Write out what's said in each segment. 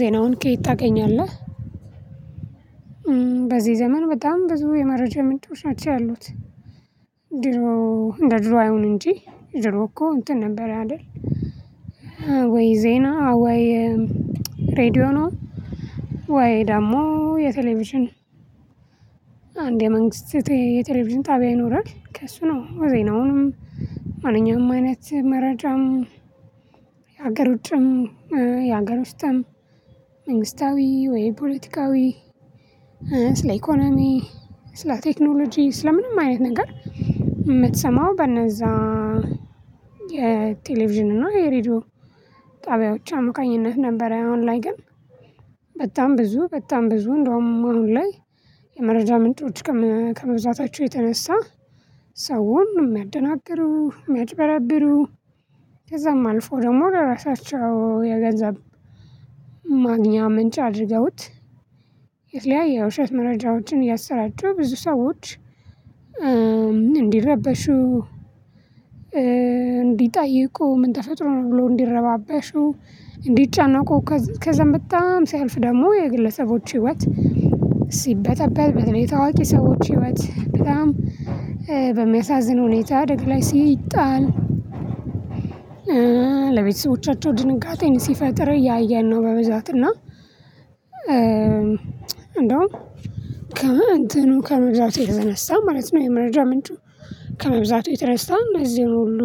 ዜናውን ከየት ታገኛለህ? በዚህ ዘመን በጣም ብዙ የመረጃ ምንጮች አቻ ያሉት። ድሮ እንደ ድሮ አይሆንም እንጂ ድሮ እኮ እንትን ነበር አይደል? ወይ ዜና ወይ ሬድዮ ነው? ወይ ደግሞ የቴሌቪዥን አንድ የመንግስት የቴሌቪዥን ጣቢያ ይኖራል። ከእሱ ነው ዘይናውንም። ማንኛውም አይነት መረጃም። የሀገር ውጭም የሀገር ውስጥም መንግስታዊ ወይ ፖለቲካዊ ስለ ኢኮኖሚ ስለ ቴክኖሎጂ ስለ ምንም አይነት ነገር የምትሰማው በነዛ። የቴሌቪዥን እና የሬዲዮ ጣቢያዎች አሞቃኝነት ነበር። አሁን ላይ ግን በጣም ብዙ በጣም ብዙ እንደውም አሁን ላይ የመረጃ ምንጮች ከመዛታቸው የተነሳ ሰውን የሚያደናግሩ የሚያጭበረብሩ። ከዛም አልፎ ደግሞ ለራሳቸው የገንዘብ ማግኛ ምንጭ አድርገውት። የትለያይ የውሸት መረጃዎችን እያሰራጩ ብዙ ሰዎች እንዲረበሹ። እንዲጠይቁ ምን ተፈጥሮ ነው ብሎ እንዲረባበሹ። እንዲጫናቁ ከዘመጣም ሲያልፍ ደግሞ የግለሰቦች ህይወት ሲበጠበጥ በተለይ ታዋቂ ሰዎች ህይወት በጣም በሚያሳዝን ሁኔታ ደግ ላይ ሲጣል። ለቤተሰቦቻቸው ድንጋጤን ሲፈጥር እያየን ነው በብዛት እና። እንደውም ከእንትኑ ከመብዛት የተነሳ ማለት ነው። የመረጃ ምንጩ ከመብዛት የተረሳ እንደዚህ ሁሉ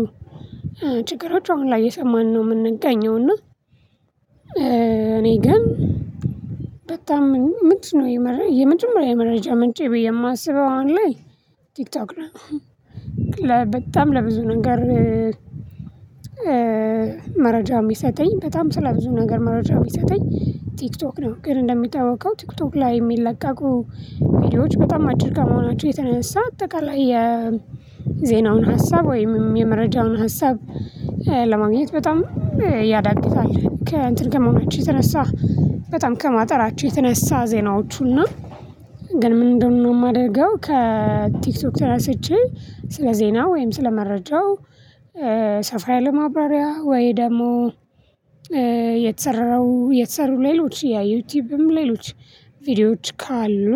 ችግሮች አሁን ላይ የሰማንነው የምንገኘው እና። እኔ ግን በጣም ምንድነው የምንድነው የመረጃ ምንጬ ብዬ የማስበው አሁን ላይ ቲክቶክ ነው። በጣም ለብዙ ነገር መረጃው የሚሰጠኝ በጣም ስለብዙ ነገር የሚሰጠኝ ቲክቶክ ነው። ግን እንደሚታወቀው ቲክቶክ ላይ የሚለቀቁ ቪዲዮዎች በጣም አጭር ጋር መሆናቸው የተነሳ አጠቃላይ የዜናውን ሀሳብ ወይም የመረጃውን ሀሳብ ለማግኘት በጣም ያዳግታል። ከእንትን ከመማቸው የተነሳ በጣም ከማጠራቸው የተነሳ ዜናዎቹና ግን ምንድነው የማደርገው? ከቲክቶክ ተነስቼ ስለ ዜና ወይም ስለ መረጃው ሰፋ ያለ ማብራሪያ ወይ ደግሞ የተሰረረው የተሰሩ ሌሎች የዩቲዩብም ሌሎች ቪዲዮዎች ካሉ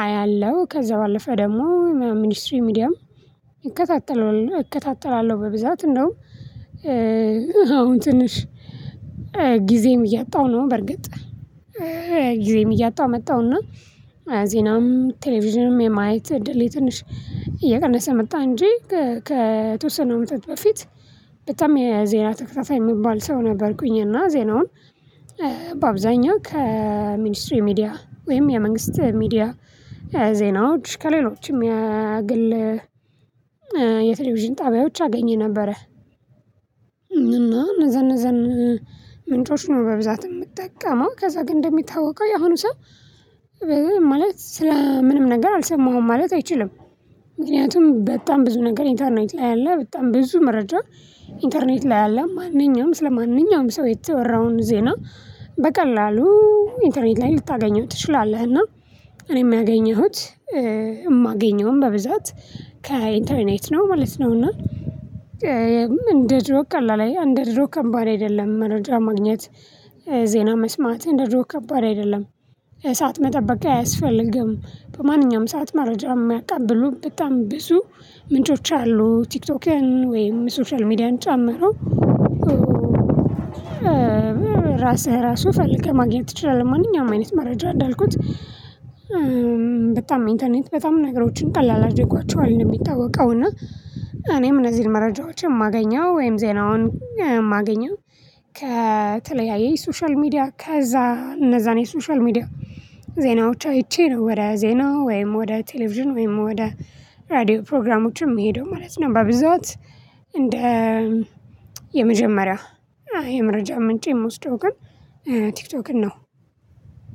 አያለሁ። ከዛ ባለፈ ደግሞ ሚኒስትሪ ሚዲያም ይከታተለው እከታተላለሁ በብዛት እንደውም አሁን ትንሽ ጊዜም እያጣሁ ነው። በርግጥ ጊዜም እያጣሁ መጣሁና ዜናም ቴሌቪዥንም የማየት ድሌ ትንሽ እየቀነሰ መጣ እንጂ። ከተወሰነ አመታት በፊት በጣም የዜና ተከታታይ የሚባል ሰው ነበርኩኝ። እና ዜናውን በአብዛኛው ከሚኒስትሪ ሚዲያ ወይም የመንግስት ሚዲያ ዜናው ከሌሎችም የግል የቴሌቪዥን ጣቢያዎች አገኘን ነበረ። እና እነዚያ እነዚያ ምንጮች ነው በብዛት የምጠቀመው ከዛ ግን እንደሚታወቀው የሆኑ ሰው ማለት ስለ ምንም ነገር አልሰማሁም ማለት አይችልም። ምክንያቱም በጣም ብዙ ነገር ኢንተርኔት ላይ አለ በጣም ብዙ መረጃ ኢንተርኔት ላይ አለ። ማንኛውም ስለ ማንኛውም ሰው የተወራውን ዜና በቀላሉ ኢንተርኔት ላይ ልታገኘው ትችላለህ እና። እኔ የማገኘሁት የማገኘውም በብዛት ከኢንተርኔት ነው ማለት ነው እና። እንደ ጆብ ቀላል አንድ ድሮ ከባድ አይደለም መረጃ ማግኘት ዜና መስማት እንደ ድሮ ከባድ አይደለም። የሰዓት መጠበቂያ አያስፈልግም በማንኛውም ሰዓት መረጃ የማያቃብሉ በጣም ብዙ ምንጮች አሉ ቲክቶክን ወይም ሶሻል ሚዲያን ጫምሮ። ራስህ ራሱ ፈልገህ ማግኘት ትችላለህ ማንኛውም አይነት መረጃ እንዳልኩት። በጣም ኢንተርኔት በጣም ነገሮችን ቀላል አድርጓቸዋል እንደሚታወቀው እና። እኔም እነዚህን መረጃዎች የማገኘው ወይም ዜናውን ማገኛ ከተለያየ ሶሻል ሚዲያ ከዛ እነዛን የሶሻል ሚዲያ ዜናዎች አይቼነው ወደ ዜና ወይም ወደ ቴሌቪዥን ወይም ወደ ራዲዮ ፕሮግራሞችም መሄዱ ማለት ነው። በብዛት እንደ የመጀመሪያው የመረጃ ምንጭ የምወስደው ግን ቲክቶክን ነው።